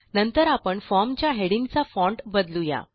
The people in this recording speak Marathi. नंतर आपण फॉर्म च्या हेडिंगचा फॉन्ट बदलू या